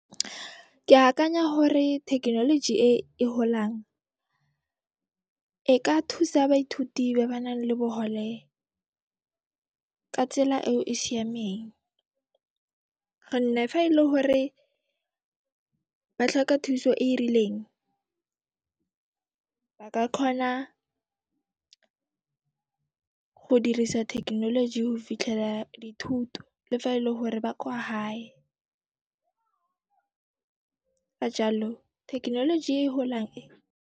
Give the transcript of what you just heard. Ke akanya hore thekenoloji e e holang, e ka thusa baithuti ba ba nang le bohole ka tsela eo e siameng gonne fa e le hore ba tlhoka thuso e e rileng, ba ka kgona go dirisa thekenoloji ho fitlhela dithuto le fa e le hore ba kwa hae ka jaalo thekenoloji e holang e.